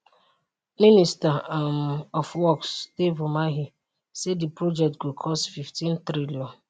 minister um of works dave umahi say di project go cost 15 trillion